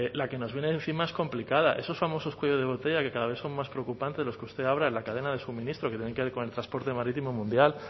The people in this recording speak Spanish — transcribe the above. la que nos viene encima es complicada esos famosos cuellos de botella que cada vez son más preocupantes de los que usted habla en la cadena de suministro que tienen que ver con el transporte marítimo mundial